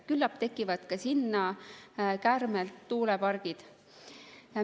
Küllap tekivad ka sinna kärmelt tuulepargid.